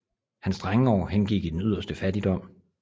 Hans drengeår hengik i den yderste fattigdom